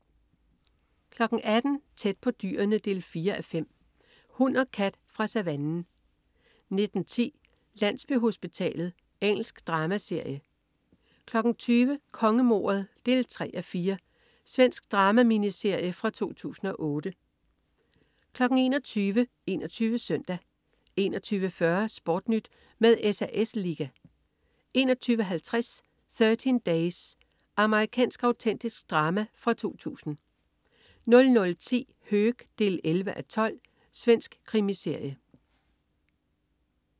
18.00 Tæt på dyrene 4:5. Hund og kat fra savannen 19.10 Landsbyhospitalet. Engelsk dramaserie 20.00 Kongemordet 3:4. Svensk drama-miniserie fra 2008 21.00 21 Søndag 21.40 SportNyt med SAS Liga 21.50 Thirteen Days. Amerikansk autentisk drama fra 2000 00.10 Höök 11:12. Svensk krimiserie